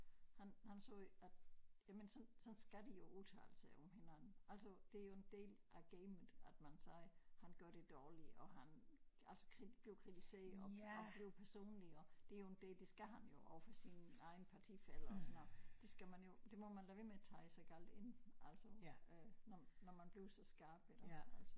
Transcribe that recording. Han han sagde at jamen sådan sådan skal de jo udtale sig om hinanden altså det jo en del af gamet at man siger han gør det dårligt og han altså blive kritiseret og og blive personlig og det jo en det skal han jo overfor sine egne partifæller og sådan noget det skal man jo det må man lade være med at tage så galt ind altså øh når når man bliver så skarp i det altså